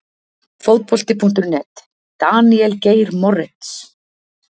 Fótbolti.net- Daníel Geir Moritz